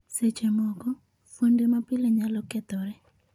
Seche moko, fuonde mapile nyalo kethore.